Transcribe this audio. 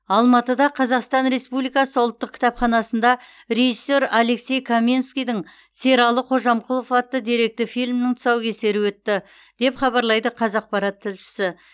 алматыда қазақстан республикасы ұлттық кітапханасында режиссер алексей каменскийдің сералы қожамқұлов атты деректі фильмнің тұсаукесері өтті деп хабарлайды қазақпарат тілшісі